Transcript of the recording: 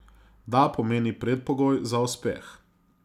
Da pomeni predpogoj za uspeh.